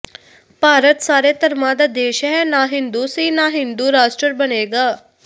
ਭਾਰਤ ਸਾਰੇ ਧਰਮਾਂ ਦਾ ਦੇਸ਼ ਹੈ ਨਾ ਹਿੰਦੂ ਸੀ ਨਾ ਹਿੰਦੂ ਰਾਸਟਰ ਬਣੇਗਾ